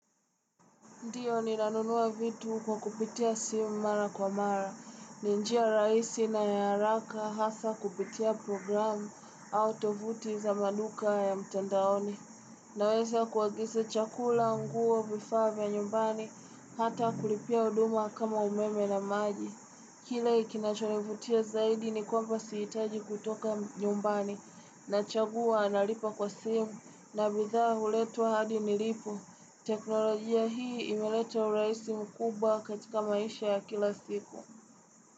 Ndio ninanunua vitu kwa kupitia simu mara kwa mara, ni njia rahisi na ya haraka hasaa kupitia programu au tovuti za maduka ya mtandaoni. Naweza kuagiza chakula nguo vifaa vya nyumbani, hata kulipia huduma kama umeme na maji. Kila kinachonivutia zaidi ni kwamba sihitaji kutoka nyumbani, nachagua nalipa kwa simu, na bidha huletwa hadi nilipo. Teknolojia hii imeleta urahisi mkubwa katika maisha ya kila siku.